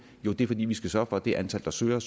er fordi vi skal sørge for at det antal der søger